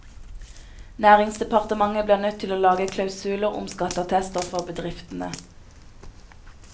Næringsdepartementet blir nødt til å lage klausuler om skatteattester for bedriftene.